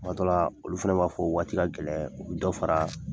Kuma dɔ la, olu fana b'a fɔ waati ka gɛlɛn u bi dɔ fara